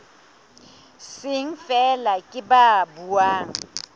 seng feela ke ba buang